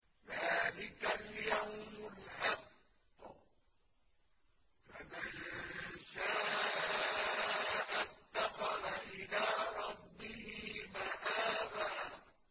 ذَٰلِكَ الْيَوْمُ الْحَقُّ ۖ فَمَن شَاءَ اتَّخَذَ إِلَىٰ رَبِّهِ مَآبًا